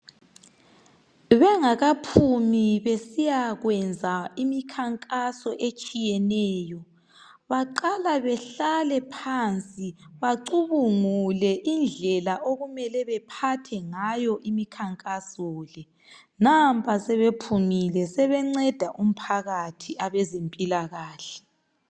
Bengakaphumi besiyakwenza imikhankaso etshiyeneyo baqala behlale phansi bacubungule indlela okumele bephathe ngayo imikhankaso le nampa sebephumile sebenceda umphakathi abazempilakahle